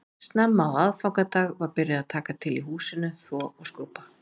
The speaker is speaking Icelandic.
Snemma á aðfangadag var byrjað að taka til í húsinu, þvo og skrúbba